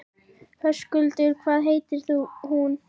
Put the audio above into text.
Höskuldur: Hvað heitir hún?